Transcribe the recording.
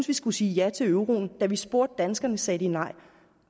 vi skulle sige ja til euroen og da man spurgte danskerne sagde de nej